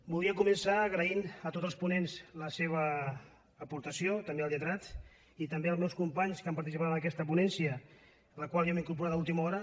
volia començar agraint a tots els ponents la seva aportació també al lletrat i també als meus companys que han participat en aquesta ponència a la qual jo m’he incorporat a última hora